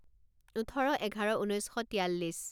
ওঠৰ এঘাৰ ঊনৈছ শ তিয়াল্লিছ